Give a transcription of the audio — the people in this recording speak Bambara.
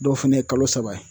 Dɔw fɛnɛ ye kalo saba ye.